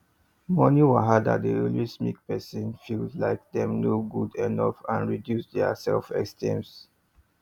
money wahala dey always make person feel like dem no good enough and reduce dia self esteems